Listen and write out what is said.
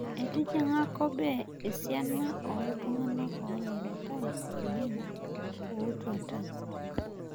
Etijing'a kobe esiana ollntung'ana oolakitai oleng' ootuata